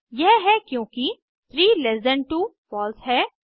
यह है क्योंकि 3ल्ट2 फॉल्स है